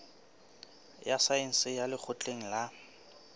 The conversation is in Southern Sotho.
ya saense ya lekgotleng la